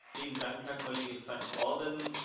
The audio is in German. Vielen Dank, Herr Kollege Van Orden.